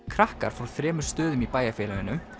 krakkar frá þremur stöðum í bæjarfélaginu